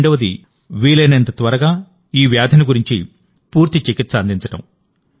రెండవది వీలైనంత త్వరగా ఈ వ్యాధిని గుర్తించి పూర్తి చికిత్స అందించడం